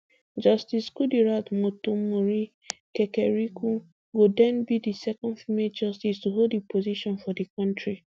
justice kudirat motonmori kekereekun go den be di second female justice to hold di position for di kontri